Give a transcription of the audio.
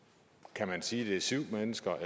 kan man sige om det er syv mennesker